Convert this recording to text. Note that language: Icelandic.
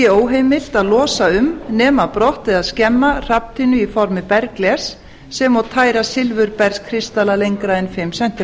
óheimilt að losa um nema brott eða skemma hrafntinnu í formi bergglers sem og tæra silfurbergskristalla lengra en fimm